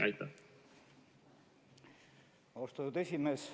Austatud esimees!